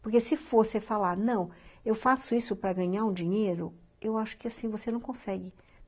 Porque se for você falar, não, eu faço isso para ganhar um dinheiro, eu acho que assim você não consegue.